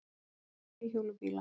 Nokkrir þríhjóla bílar.